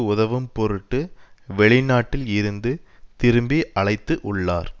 உதவும் பொருட்டு வெளிநாட்டில் இருந்து திருப்பி அழைத்து உள்ளார்